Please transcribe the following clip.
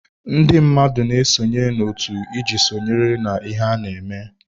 Ndị mmadụ na-esonye na otu iji sonyere na ihe ana-eme.